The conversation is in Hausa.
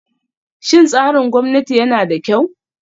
Shin tsarin gwamnati yana da kyau?